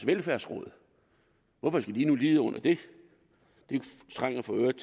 velfærdsråd hvorfor skal de nu lide under det det trænger for øvrigt